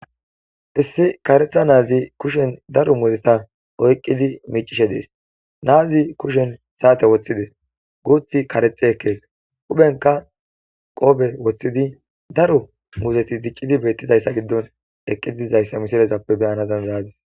issi karetha naazi kushen daro muteta oyqqidi miicishe dees naazi kushen saate woththides guuthi karexe ekkees uphenka qoobe woththidi daro muzeti diccidi beettizayssa giddon eqqiidizayssa misilezappe beyana dandaadis